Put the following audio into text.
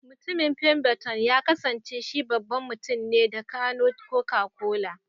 Mutumin femberton ya kasance shi babban mutumne da gano Coca-Cola.